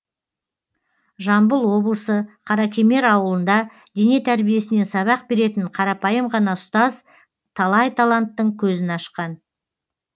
жамбыл облысы қаракемер ауылында дене тәрбиесінен сабақ беретін қарапайым ғана ұстаз талай таланттың көзін ашқан